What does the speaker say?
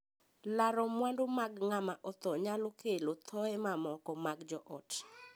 Laro mwandu mag ng'ama othoo nyalo kelo thooye mamoko mag joot.